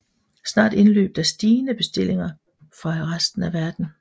Snart indløb der stigende bestillinger fra resten af verden